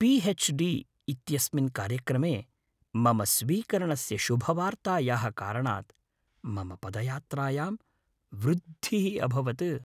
P. H. D. इत्यस्मिन् कार्यक्रमे मम स्वीकरणस्य शुभवार्तायाः कारणात् मम पदयात्रायां वृद्धिः अभवत्।